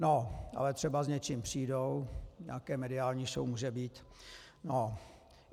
No ale třeba s něčím přijdou, nějaká mediální show může být.